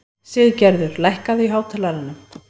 Siggerður, lækkaðu í hátalaranum.